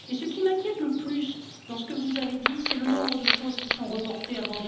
Mais ce qui m'inquiète le plus dans ce que vous avez dit, c'est le nombre de choses qui sont reportées jusqu'à